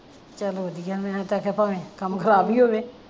ਚੱਲ ਵਧੀਆ ਮੈਂ ਤਾਂ ਆਖਿਆ ਭਾਂਵੇ ਕੰਮ ਖਰਾਬ ਈ ਹੋਵੇ